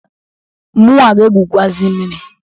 Munwa ga-egwukwuazị mmiri.